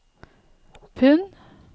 pund